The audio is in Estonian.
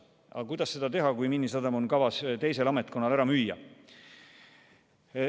Aga kuidas seda teha, kui teisel ametkonnal on kavas Miinisadam ära müüa?